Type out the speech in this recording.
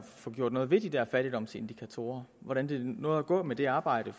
få gjort noget ved de der fattigdomsindikatorer og hvordan det nu er gået med det arbejde